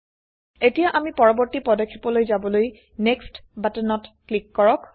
এতিয়া আমি পৰবৰ্তী পদক্ষেপলৈ যাবলৈ নেক্সট বাটনত ক্লিক কৰক